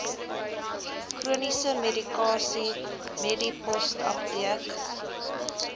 chroniese medikasie medipostapteek